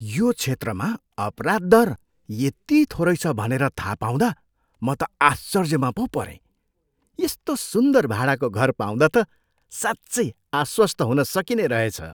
यो क्षेत्रमा अपराध दर यति थोरै छ भनेर थाहा पाउँदा म त आश्चर्यमा पो परेँ! यस्तो सुन्दर भाडाको घर पाउँदा त साँच्चै आश्वस्त हुन सकिने रहेछ।